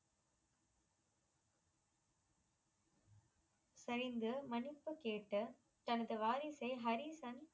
சரிந்து மனிப்பு கேட்டு தனது வாரிசை ஹரிசன்